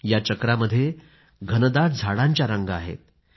या चक्रामध्ये घनदाट झाडांच्या रांगा आहेत